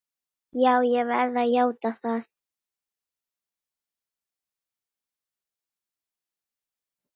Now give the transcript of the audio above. Ég verð að játa það!